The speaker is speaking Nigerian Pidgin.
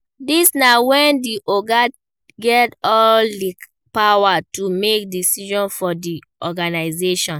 Dis na when di oga get all di power to make decision for the organisation